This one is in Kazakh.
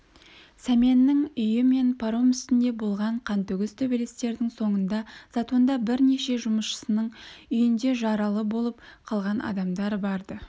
сәменнің үйі мен паром үстінде болған қантөгіс төбелестердің соңында затонда бірнеше жұмысшының үйінде жаралы боп қалған адамдар бар-ды